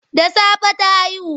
Da safe ta haihu.